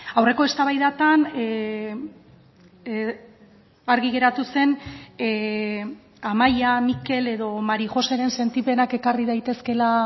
aurreko eztabaidetan argi geratu zen amaia mikel edo mari joséren sentipenak ekarri daitezkeela